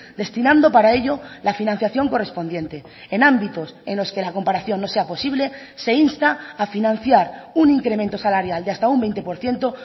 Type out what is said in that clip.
destinando para ello la financiación correspondiente en ámbitos en los que la comparación no sea posible se insta a financiar un incremento salarial de hasta un veinte por ciento